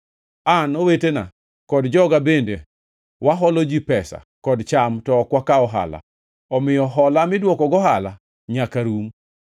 An, owetena kod joga bende waholo ji pesa kod cham to ok wakaw ohala, omiyo hola midwoko gohala nyaka rum!